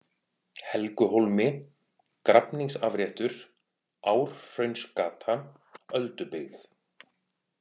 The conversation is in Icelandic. Helguhólmi, Grafningsafréttur, Árhraunsgata, Öldubyggð